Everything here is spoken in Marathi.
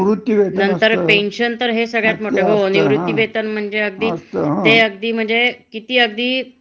अगदी वरीष्टांची मतभेद झाली. हं. तरीसुद्धा तो वरिष्ठ असे तुम्हाला लगेच